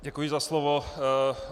Děkuji za slovo.